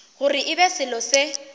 gore e be selo se